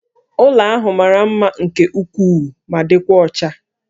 Ụlọ ahụ mara mma nke ukwuu ma dịkwa ọcha